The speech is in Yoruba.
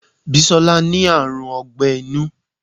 Bisola ní àrùn ogbẹ́ inú